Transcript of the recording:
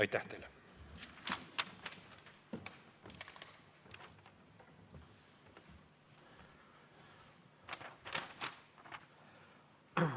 Aitäh teile!